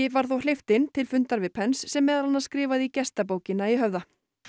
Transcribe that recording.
var þó hleypt inn til fundar við sem meðal annars skrifaði í gestabókina í Höfða